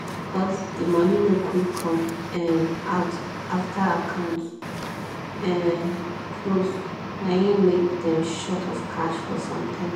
because the money no quick come um out after account um close na hin make dem short of cash for some time